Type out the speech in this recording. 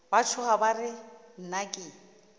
ba tšhoga ba re nnake